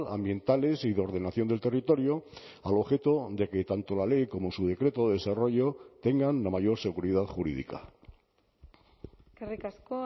ambientales y de ordenación del territorio al objeto de que tanto la ley como su decreto de desarrollo tengan la mayor seguridad jurídica eskerrik asko